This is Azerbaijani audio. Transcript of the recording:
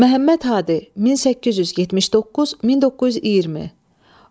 Məhəmməd Hadi, 1879-1920.